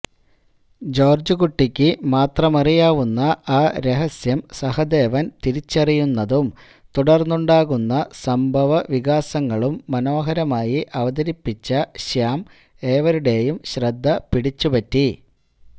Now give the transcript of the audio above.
ജോർജുകുട്ടിക്ക് മാത്രമറിയാവുന്ന ആ രഹസ്യം സഹദേവൻ തിരിച്ചറിയുന്നതും തുടർന്നുണ്ടാകുന്ന സംഭവവികാസങ്ങളും മനോഹരമായി അവതരിപ്പിച്ച ശ്യാം ഏവരുടെയും ശ്രദ്ധപിടിച്ചുപറ്റി